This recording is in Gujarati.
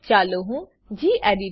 ચાલો હું ગેડિટ